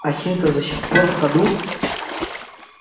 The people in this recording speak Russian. осинка до сих пор в ходу